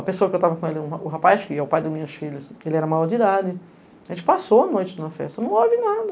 A pessoa que eu estava com ele, o rapaz que é o pai dos meus filhos, ele era maior de idade, a gente passou a noite na festa, não houve nada.